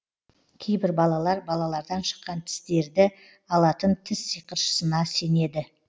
кейбір балалар балалардан шыққан тістерді алатын тіс сиқыршысына сенеді